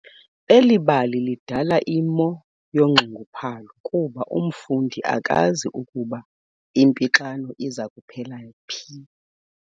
Eli bali lidala imo yonxunguphalo kuba umfundi akazi ukuba impixano iza kuphelela phi.